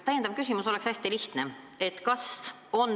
Täpsustav küsimus on hästi lihtne.